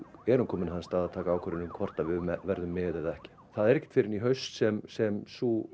erum komin á þann stað að taka ákvörðun um hvort við verðum með eða ekki það er ekkert fyrr en í haust sem sem sú